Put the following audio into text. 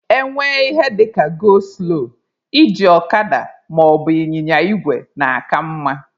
E nwee ihe dịka 'go slow' iji ọkada maọbụ ịnyịnya igwe na-aka mma